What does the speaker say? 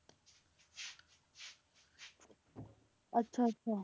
ਅੱਛਾ ਅੱਛਾ